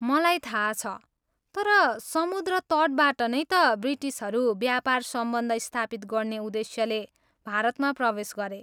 मलाई थाहा छ, तर समुद्र तटबाट नै त ब्रिटिसहरू व्यापार सम्बन्ध स्थापित गर्ने उद्देश्यले भारतमा प्रवेश गरे।